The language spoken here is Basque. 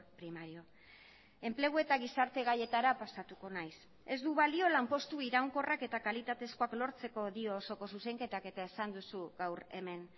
primario enplegu eta gizarte gaietara pasatuko naiz ez du balio lanpostu iraunkorrak eta kalitatezkoak lortzeko dio osoko zuzenketak eta esan duzu gaur hemen